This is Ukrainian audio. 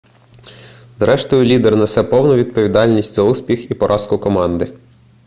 зрештою лідер несе повну відповідальність за успіх і поразку команди